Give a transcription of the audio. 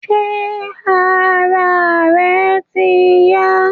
Ṣé ara rẹ ti yá